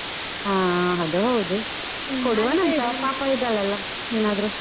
ಹಾ ಅದ್ ಹೌದು ಇದ್ದಾಳಲ್ಲ ಏನಾದ್ರು.